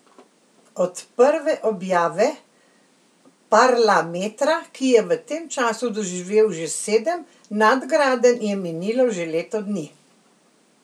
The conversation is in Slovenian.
Od prve objave Parlametra, ki je v tem času doživel že sedem nadgradenj, je minilo že leto dni.